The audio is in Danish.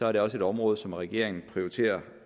er det også et område som regeringen prioriterer